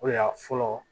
O de y'a fɔlɔ